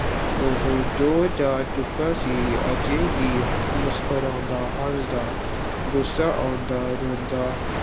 ਉਹ ਜੋ ਜਾ ਚੁੱਕਾ ਸੀ, ਅਜੇ ਵੀ ਮੁਸਕਰਾਉਂਦਾ, ਹੱਸਦਾ ਗੁੱਸਾ ਆਉਂਦਾ, ਰੋਂਦਾ,